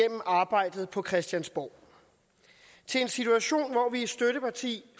arbejdet på christiansborg til en situation hvor vi er støtteparti